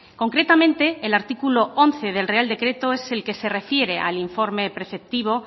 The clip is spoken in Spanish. concretamente el artículo once del real decreto es el que se refiere al informe preceptivo